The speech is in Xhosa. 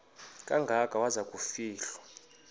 kangaka waza kufihlwa